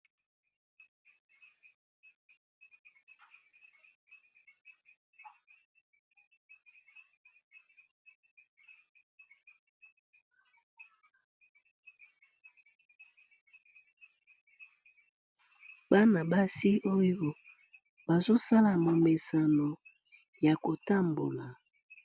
bana basi oyo bazosalama momesano ya kotambola